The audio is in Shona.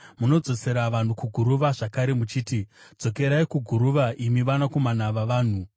Munodzosera vanhu kuguruva zvakare, muchiti, “Dzokerai kuguruva, imi vanakomana vavanhu.”